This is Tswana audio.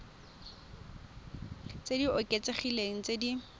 tse di oketsegileng tse di